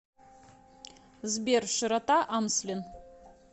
сбер широта амслен